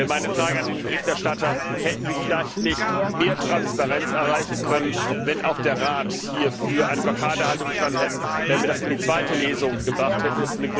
Meine Frage an den Berichterstatter Hätten wir nicht vielleicht mehr Transparenz erreichen können, wenn auch der Rat hier für eine Blockadehaltung gestanden hätte, wenn wir das in die zweite Lesung gebracht hätten?